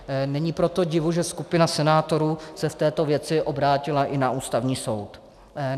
Není proto divu, že skupina senátorů se v této věci obrátila i na Ústavní soud.